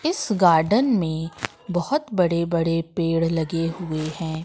इस गार्डन में बहोत बडे बडे पेड़ लगे हुए हैं।